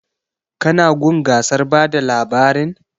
Ka na gun gasar bada labarin?